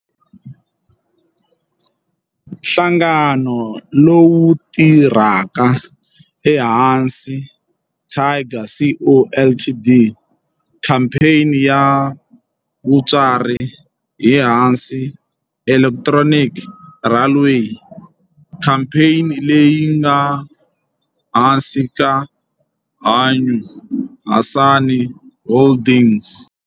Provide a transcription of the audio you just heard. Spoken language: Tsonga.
Nhlangano lowu tirhaka i Hanshin Tigers Co., Ltd. Khamphani ya mutswari i Hanshin Electric Railway, khamphani leyi nga ehansi ka Hankyu Hanshin Holdings.